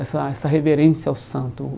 Essa essa reverência ao santo.